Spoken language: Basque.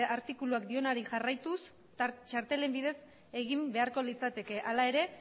artikuluak dionari jarraituz txartelen bidez egin beharko litzateke hala ere